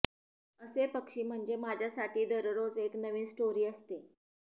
असे पक्षी म्हणजे माझ्यासाठी दररोज एक नवीन स्टोरी असते